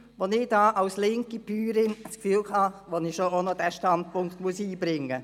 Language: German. Als linke Bäuerin war ich der Meinung, ich müsse doch noch auch meinen Standpunkt einbringen.